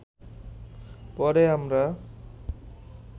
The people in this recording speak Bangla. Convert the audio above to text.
পরে আমরা